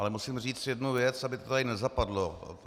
Ale musím říct jednu věc, aby to tady nezapadlo.